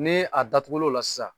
Ne a datugu l'o la sisan.